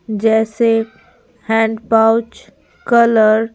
जैसे hand pouch colour --